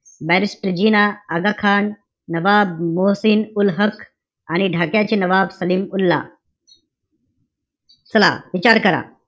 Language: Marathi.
Barristor जिना, आगाखान, नवाब मोहसीन उल हक, आणि ढाक्याचे नवाब सलीम उल्ला चला, विचार करा.